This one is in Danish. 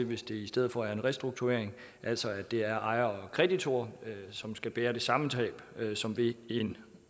hvis det i stedet for er en restrukturering altså at det er ejere og kreditorer som skal bære det samme tab som ved en